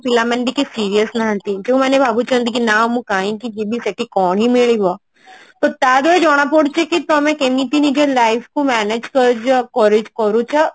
ପିଲାମାନେ ଟିକେ serious ନାହାନ୍ତି ପିଲାମାନେ ଭାବୁଛନ୍ତି କି ନା ମୁଁ କାଇଁ କି ଯିବି ସେଠି କଣ ହିଁ ମିଳିବ ଆଉ ତା ଦ୍ଵାରା ଜଣା ପଡୁଛି କି ତମେ କେମତି ନିଜ life କୁ manage କରୁଛ କ କରୁଛ